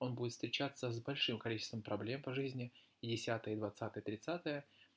он будет встречаться с большим количеством проблем по жизни и десятое и двадцатое тридцатое